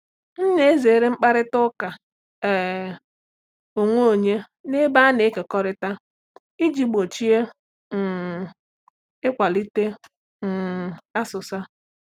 M na-ezere mkparịta ụka um onwe onye n’ebe a na-ekekọrịta iji gbochie um ịkwalite um asụsa.